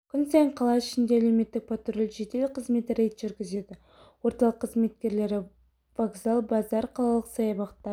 күн сайын қала ішінде әлеуметтік патруль жедел қызметі рейд жүргізеді орталық қызметкерлері вокзал базар қалалық саябақтар